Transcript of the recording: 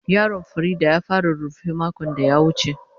Yaron Fareedah ya fara rurrufe makon da ya wuce.